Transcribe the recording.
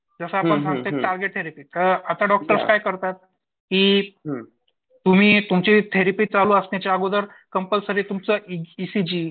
जसं आपण सांगतो टार्गेट थेरपी आता डॉक्टर्स काय करतात, की तुम्ही तुमचे थेरपी चालू असण्याचे अगोदर कंपलसरी तुमचं ईसीजी